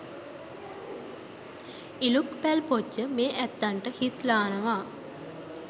ඉලූක් පැල් පොජ්ජ මේ ඇත්තන්ට හිත්ලානවා.